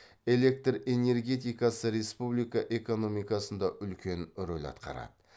электр энергетикасы республика экономикасында үлкен рөл атқарады